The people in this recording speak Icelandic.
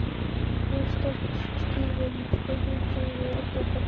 Þar stóð skýrum stöfum Sigríður Óttarsdóttir.